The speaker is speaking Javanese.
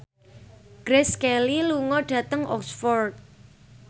Grace Kelly lunga dhateng Oxford